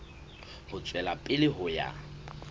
ho tswela pele ho ya